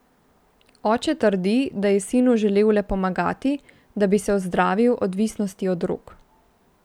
Oče trdi, da je sinu želel le pomagati, da bi se ozdravil odvisnost od drog.